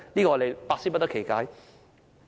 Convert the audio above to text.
我們百思不得其解。